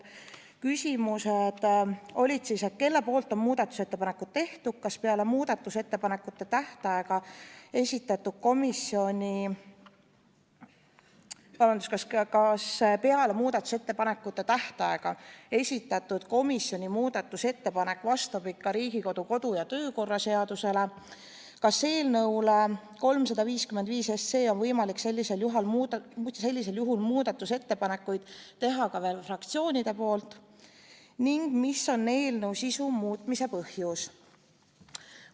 Küsimused olid selle kohta, et kes on muudatusettepanekud teinud, kas peale muudatusettepanekute tähtaega esitatud komisjoni muudatusettepanek vastab ikka Riigikogu kodu- ja töökorra seadusele, kas eelnõu 355 kohta on võimalik sellisel juhul muudatusettepanekuid teha ka fraktsioonidel ning mis on eelnõu sisu muutmise põhjus.